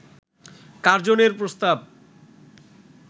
কার্জনের প্রস্তাব